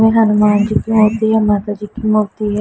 और हनुमान जी की मूर्ति है माता जी की मूर्ति है।